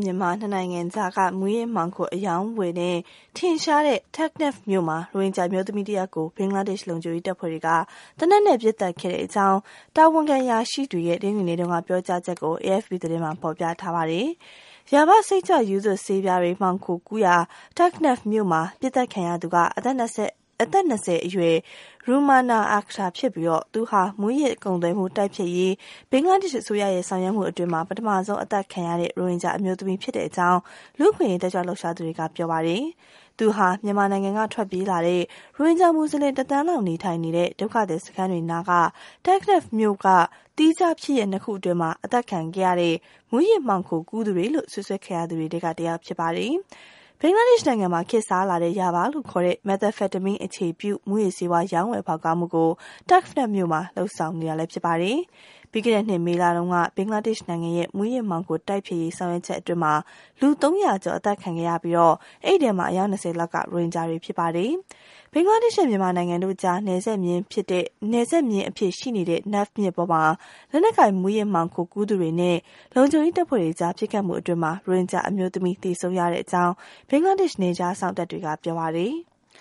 မြန်မာ ၂ နိုင်ငံကြားက မူးယစ်မှောင်ခို အရောင်းဝယ်နဲ့ ထင်ရှားတဲ့ Teknaf မြို့မှာ ရိုဟင်ဂျာအမျိုးသမီးတယောက်ကို ဘင်္ဂလားဒေ့ရှ် လုံခြုံရေးတပ်ဖွဲ့တွေက သေနတ်နဲ့ ပစ်သတ် ခဲ့ကြောင်း တာဝန်ခံ အရာရှိတွေရဲ့ တနင်္ဂနွေနေ့က ပြောကြားချက်ကို AFP သတင်းမှာ ဖော်ပြထားပါတယ်။ Yaba စိတ်ကြွရူးသွပ်ဆေးပြားတွေ မှောင်ခိုကူးရာ Teknaf မြို့မှာ ပစ်သတ်ခံရသူဟာ အသက် ၂၀ အရွယ် Rumana Akter ဖြစ်ပြီး သူဟာ မူးယစ်ကုန်သွယ်မှုတိုက်ဖျက်ရေး ဘင်္ဂလားဒေ့ရှ်အစိုးရရဲ့ ဆောင်ရွက်မှုအတွင်း ပထမဆုံးအသတ်ခံရတဲ့ ရိုဟင်ဂျာအမျိုးသမီးဖြစ်ကြောင်း လူ့အခွင့်အရေး တက်ကြွလှုပ်ရှားသူတွေက ပြောပါတယ်။ သူဟာ မြန်မာနိုင်ငံကထွက်ပြေးလာတဲ့ ရိုဟင်ဂျာမူဆလင် ၁ သန်းလောက်နေထိုင်နေတဲ့ ဒုက္ခသည်စခန်းတွေနားက Teknaf မြို့က သီးခြားဖြစ်ရပ် ၂ ခု အတွင်း အသတ်ခံရတဲ့ မူးယစ်မှောင်ခိုကူးသူတွေလို့ စွပ်စွဲခံရသူတွေထဲက တယောက် ဖြစ်ပါတယ်။ ဘင်္ဂလားဒေ့ရှ်နိုင်ငံမှာ ခေတ်စားလာတဲ့ Yaba လို့ခေါ်တဲ့ Methamphetamine အခြေပြု မူးယစ်ဆေးဝါး ရောင်းဝယ်ဖောက်ကားမှုကို Teknaf မြို့မှာ ဆောင်ရွက်နေတာပါ။ ပြီးခဲ့တဲ့နှစ် မေလတုန်းက ဘင်္ဂလားဒေ့ရှ်နိုင်ငံရဲ့ မူးယစ်မှောင်ခိုတိုက်ဖျက်ရေး ဆောင်ရွက်ချက်အတွင်းမှာ လူ ၃၀၀ ကျော် အသတ်ခံခဲ့ရပြီး ဒီထဲက အယောက် ၂၀ လောက်က ရိုဟင်ဂျာ တွေ ဖြစ်ပါတယ်။ ဘင်္ဂလားဒေ့ရှ်နဲ့ မြန်မာနိုင်ငံတို့ကြား နယ်ခြားမျဉ်းအဖြစ် ရှိနေတဲ့ Naf မြစ်ပေါ်မှာ လက်နက်ကိုင်မူးယစ်မှောင်ခိုကူးသူတွေနဲ့ လုံခြုံရေးတပ်ဖွဲ့တွေကြား ပစ်ခတ်မှုအတွင်းမှာ ရိုဟင်ဂျာအမျိုးသမီး သေဆုံးရကြောင်း ဘင်္ဂလားဒေ့ရှ် နယ်ခြားစောင့်တပ်တွေက ပြောပါတယ်။